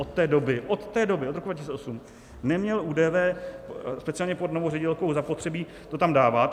Od té doby, od té doby, od roku 2008, neměl ÚDV speciálně pod novou ředitelkou zapotřebí to tam dávat.